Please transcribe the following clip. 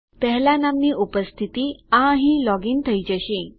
1 લાં નામની ઉપસ્થિતિ આ અહીં લોગ ઇન થઇ જશે